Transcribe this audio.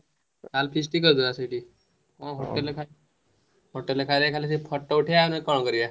ଆଗ feast କରିଦବା ସେଇଠି ।